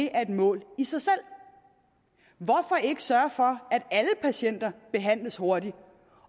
er et mål i sig selv hvorfor ikke sørge for at alle patienter behandles hurtigt